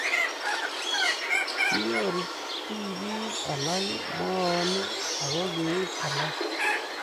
kinyoru tibik alak moonik aku keib alak